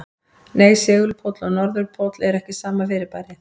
Nei, segulpóll og norðurpóll eru ekki sama fyrirbærið.